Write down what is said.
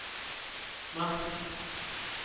merk